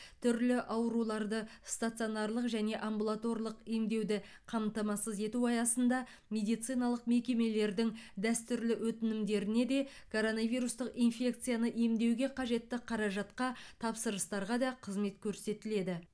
түрлі ауруларды стационарлық және амбулаторлық емдеуді қамтамасыз ету аясында медициналық мекемелердің дәстүрлі өтінімдеріне де коронавирустық инфекцияны емдеуге қажетті қаражатқа тапсырыстарға да қызмет көрсетіледі